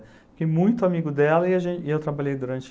Fiquei muito amigo dela e a gen e eu trabalhei durante...